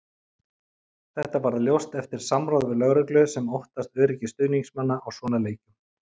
Þetta varð ljóst eftir samráð við lögreglu sem óttast öryggi stuðningsmanna á svona leikjum.